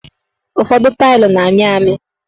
Ụfọdụ tailu na-amị amị